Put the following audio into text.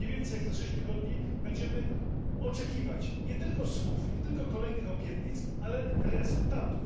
Nie więcej jak za 6 tygodni będziemy oczekiwać nie tylko słów, nie tylko kolejnych obietnic, ale rezultatów.